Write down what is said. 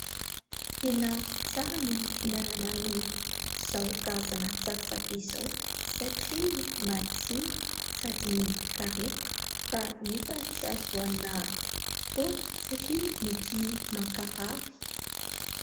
Tena tsara ny fihinanana izao karazana tsakotsako izao satria matsiro sady mikarepoka. Fa nefa tsy azo hohanina foana satria mety mankarary.